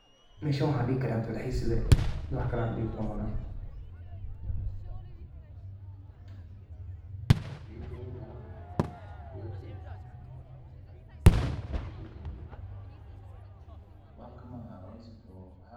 Meshan waxaan dihi karaa dalxiis lee, wax kale aan dihi karo malahan.